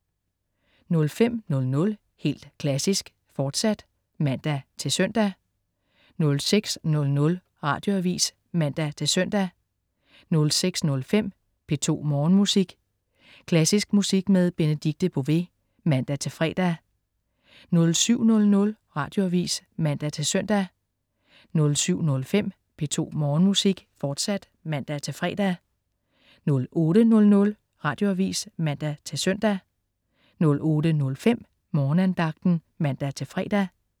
05.00 Helt Klassisk, fortsat (man-søn) 06.00 Radioavis (man-søn) 06.05 P2 Morgenmusik. Klassisk musik med Benedikte Bové (man-fre) 07.00 Radioavis (man-søn) 07.05 P2 Morgenmusik, fortsat (man-fre) 08.00 Radioavis (man-søn) 08.05 Morgenandagten (man-fre)